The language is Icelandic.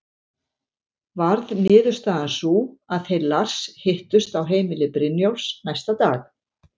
Varð niðurstaðan sú að þeir Lars hittust á heimili Brynjólfs næsta dag.